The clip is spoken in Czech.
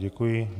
Děkuji.